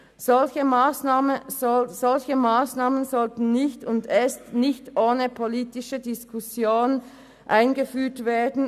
Solche Massnahmen sollten nicht – und erst recht nicht ohne politische Diskussion – eingeführt werden.